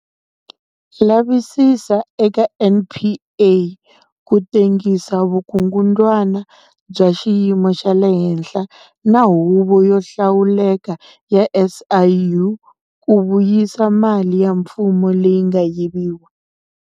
Lavisisa eka NPA ku tengisa vukungundzwana bya xiyimo xa le henhla na Huvo yo Hlawuleka ya SIU ku vuyisa mali ya mfumo leyi nga yiviwa.